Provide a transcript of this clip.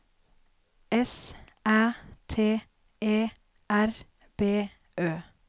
S Æ T E R B Ø